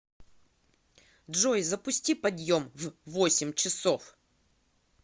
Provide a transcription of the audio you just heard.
джой запусти подъем в восемь часов